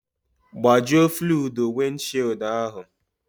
Gbajuo fluudu wịndshịịụldụ ahụ